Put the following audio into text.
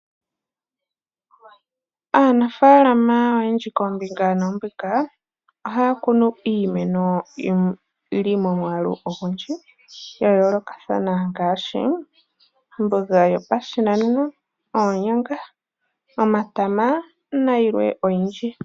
Aanafaalama oyendji koombinga noombinga ohaya kunu iimeno yili momwaalu ogundji ya yoolokathana ngaashi: omboga yopashinanena, oonyanga, omatama nayilwe oyindji.